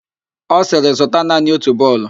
Ọ sịrị, zụta naanị otu bọọlụ!